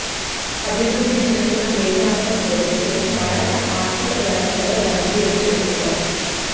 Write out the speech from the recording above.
అభివృద్ధి చెందుతున్న దేశాలతో పోలిస్తే భారత ఆర్థిక వ్యవస్థలో వడ్డీ రేట్లు ఎక్కువ